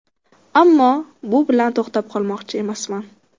Ammo bu bilan to‘xtab qolmoqchi emasman.